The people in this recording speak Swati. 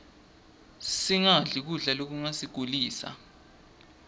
singadli kudla lokungasigulisa